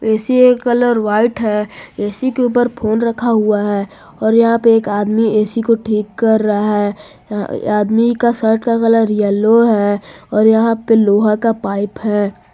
AC का colour white है AC के ऊपर फोन रखा हुआ है और यहां पे एक आदमी ए_सी को ठीक कर रहा है अ आदमी का शर्ट का कलर येलो है और यहां पे लोहा का पाइप है।